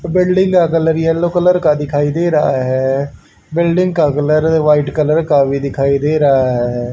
Building का colour yellow colour का दिखाई दे रहा है बिल्डिंग का कलर वाइट कलर का भी दिखाई दे रहा है।